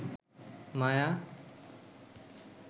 মায়া